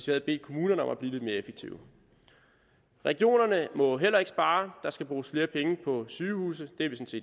havde bedt kommunerne om at blive lidt mere effektive regionerne må heller ikke spare der skal bruges flere penge på sygehuse det er vi